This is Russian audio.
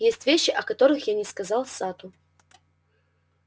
есть вещи о которых я не сказал сатту